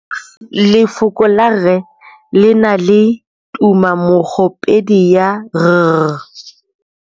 Lefoko la rre le na le tumammogôpedi ya, r.